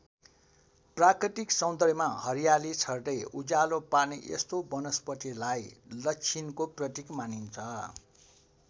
प्राकृतिक सौन्दर्यमा हरियाली छर्दै उज्यालो पार्ने यस्तो वनस्पतिलाई लच्छिनको प्रतीक मानिन्छ।